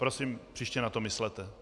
Prosím, příště na to myslete.